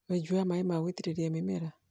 wenji wa maĩ ma gũitĩrĩrĩa mĩmera .